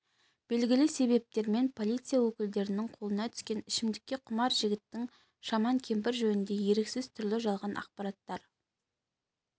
белгілі себептермен полиция өкілдерінің қолына түскен ішімдікке құмар жігіттің шаман кемпір жөнінде еріксіз түрлі жалған ақпараттар